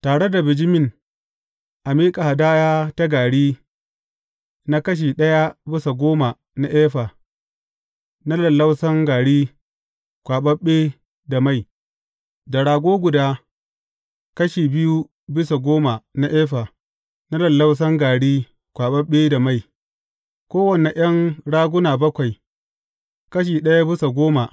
Tare da bijimin a miƙa hadaya ta gari na kashi ɗaya bisa goma na efa, na lallausan gari kwaɓaɓɓe, da mai; da rago guda, kashi biyu bisa goma na efa, na lallausan gari kwaɓaɓɓe, da mai; kowane ’yan raguna bakwai, kashi ɗaya bisa goma.